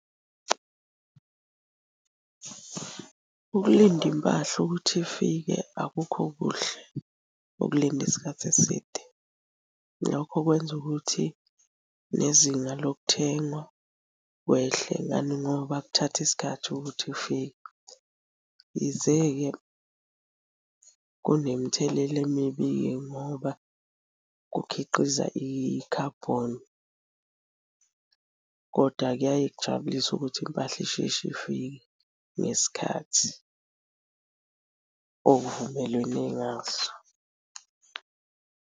Ukulinda impahla ukuthi ifike akukho kuhle ukulinda isikhathi eside. Lokho kwenza ukuthi nezinga lokuthengwa kwehle, ngani ngoba kuthatha isikhathi ukuthi ifike. Yize-ke kunemthelela emibi-ke ngoba kukhiqiza i-carbon, koda kuyaye kujabulisa ukuthi impahla isheshe ifike ngesikhathi okuvumelenwe ngaso.